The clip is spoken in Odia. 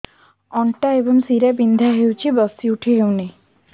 ଅଣ୍ଟା ଏବଂ ଶୀରା ବିନ୍ଧା ହେଉଛି ବସି ଉଠି ହଉନି